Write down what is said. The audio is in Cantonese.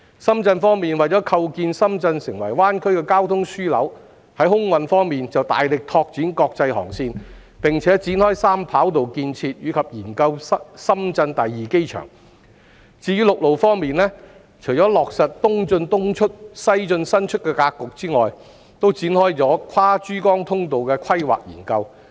深圳為構建深圳成為灣區的交通樞紐，在空運方面，大力拓展國際航線，並展開三跑道建設，以及研究深圳第二機場；至於陸路方面，除落實"東進東出、西進西出"的格局外，還開展跨珠江通道的規劃研究。